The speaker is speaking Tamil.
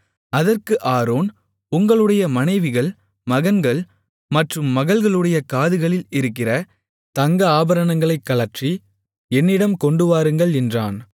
அதற்கு ஆரோன் உங்களுடைய மனைவிகள் மகன்கள் மற்றும் மகள்களுடைய காதுகளில் இருக்கிற தங்க ஆபரணங்களை கழற்றி என்னிடம் கொண்டுவாருங்கள் என்றான்